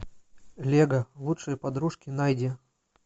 лего лучшие подружки найди